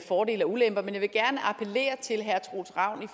fordele og ulemper men jeg vil gerne appellere til herre troels ravn i